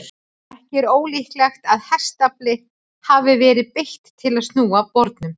Ekki er ólíklegt að hestafli hafi verið beitt til að snúa bornum.